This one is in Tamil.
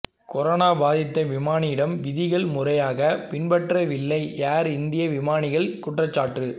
கொரோனா பாதித்த விமானியிடம் விதிகள் முறையாக பின்பற்றவில்லை ஏர் இந்தியா விமானிகள் குற்றச்சாட்டு